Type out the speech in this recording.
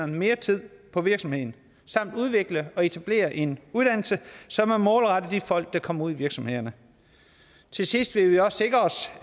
mere tid på virksomheden samt udvikle og etablere en uddannelse som er målrettet de folk der kommer ud i virksomhederne til sidst vil vi også sikre os